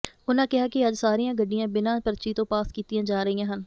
ਉਨ੍ਹਾਂ ਕਿਹਾ ਕਿ ਅੱਜ ਸਾਰੀਆਂ ਗੱਡੀਆਂ ਬਿਨ੍ਹਾਂ ਪਰਚੀ ਤੋਂ ਪਾਸ ਕੀਤੀਆਂ ਜਾ ਰਹੀਆਂ ਹਨ